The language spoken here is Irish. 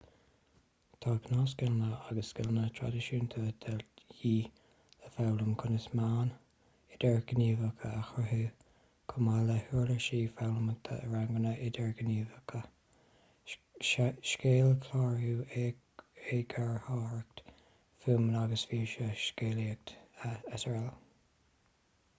tá gnáthscileanna agus scileanna traidisiúnta de dhíth le foghlaim conas meáin idirghníomhach a chruthú chomh maith le huirlisí foghlamtha i ranganna idirghníomhacha scéalchlárú eagarthóireacht fuaime agus físe scéalaíocht srl.